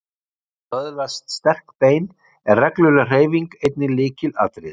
Til þess að öðlast sterk bein er regluleg hreyfing einnig lykilatriði.